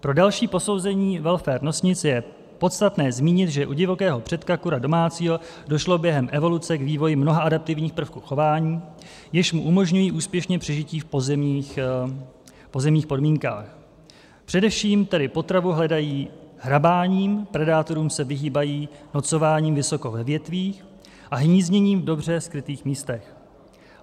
Pro další posouzení welfaru nosnic je podstatné zmínit, že u divokého předka kura domácího došlo během evoluce k vývoji mnoha adaptivních prvků chování, jež mu umožňují úspěšné přežití v pozemních podmínkách, především tedy potravu hledají hrabáním, predátorům se vyhýbají nocováním vysoko ve větvích a hnízděním v dobře skrytých místech.